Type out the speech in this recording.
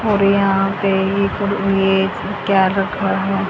और यहां पे ये क्या रखा है।